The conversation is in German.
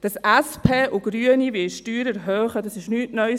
Dass SP und Grüne Steuern erhöhen wollen, ist nichts Neues.